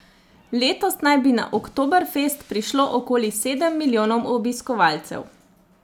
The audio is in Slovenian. Letos naj bi na Oktoberfest prišlo okoli sedem milijonov obiskovalcev.